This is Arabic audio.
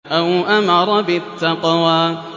أَوْ أَمَرَ بِالتَّقْوَىٰ